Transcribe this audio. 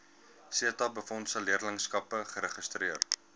setabefondse leerlingskappe geregistreer